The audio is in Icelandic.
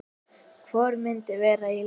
Hvor myndi vera í liðinu?